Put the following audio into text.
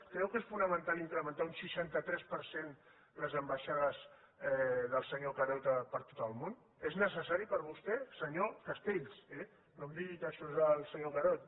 creu que és fonamental incrementar un seixanta tres per cent les ambaixades del senyor carod per tot el món és necessari per vostè senyor castells eh no em digui que això és del senyor carod